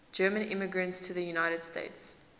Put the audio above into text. german immigrants to the united states